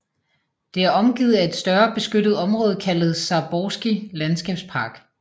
Det er omgivet af et større beskyttet område kaldet Zaborski Landskabspark